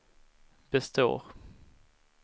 består